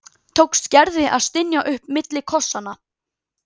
tókst Gerði að stynja upp milli kossanna.